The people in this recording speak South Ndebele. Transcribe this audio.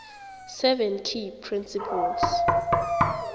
seven key principles